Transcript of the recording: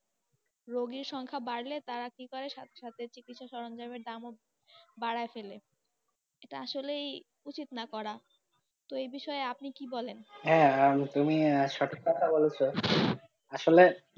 রোগীর সংখ্যা বাড়লে, তারা কি করে সাথে সাথে চিকিৎসা সরঞ্জাম এর দাম ও বাড়ায় ফেলে, এটা আসলেই উচিত না করা, তো এই বিষয়ে, আপনি কি বলেন, হ্যাঁ তুমি সঠিক কোথায় বলেছো? আসলে,